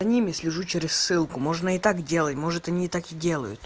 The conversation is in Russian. за ними слежу через ссылку можно и так делать может они и так и делают